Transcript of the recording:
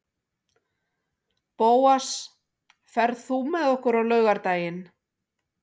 Bóas, ferð þú með okkur á laugardaginn?